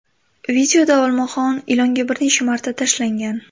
Videoda olmaxon ilonga bir necha marta tashlangan.